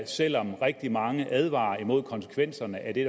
selv om rigtig mange advarer imod konsekvenserne af det